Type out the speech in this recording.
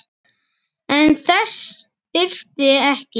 En þess þyrfti ekki.